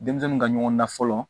Denmisɛnninw ka ɲɔgɔn dan fɔlɔ